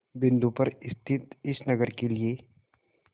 बिंदु पर स्थित इस नगर के लिए